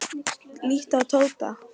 Líttu á Tóta.